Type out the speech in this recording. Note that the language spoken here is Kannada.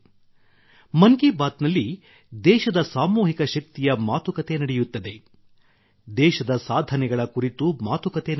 ಮನ್ ಕಿ ಬಾತ್ ನಲ್ಲಿ ದೇಶದ ಸಾಮೂಹಿಕ ಶಕ್ತಿಯ ಮಾತುಕತೆ ನಡೆಯುತ್ತದೆ ದೇಶದ ಸಾಧನೆಗಳ ಕುರಿತು ಮಾತುಕತೆ ನಡೆಯುತ್ತದೆ